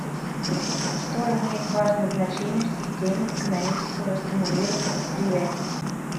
что имеет важное значение в системе экономического стимулирования предприятий